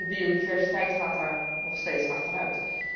De biodiversiteit gaat er nog steeds achteruit.